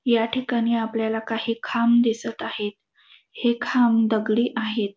या ठिकाणी आपल्याला काही खांब दिसत आहे. हे खांब दगडी आहेत.